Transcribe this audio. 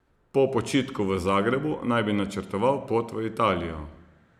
Po počitku v Zagrebu naj bi načrtoval pot v Italijo.